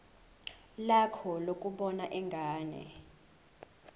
lakho lokubona ingane